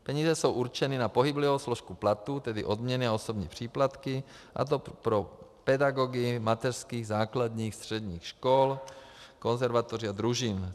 Peníze jsou určeny na pohyblivou složku platů, tedy odměny a osobní příplatky, a to pro pedagogy mateřských, základních, středních škol, konzervatoří a družin.